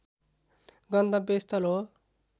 गन्तव्य स्थल हो